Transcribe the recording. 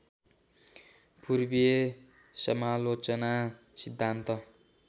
पूर्वीय समालोचना सिद्धान्त